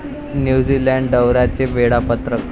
New Zealand दौऱ्याचे वेळापत्रक